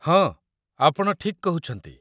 ହଁ, ଆପଣ ଠିକ୍ କହୁଛନ୍ତି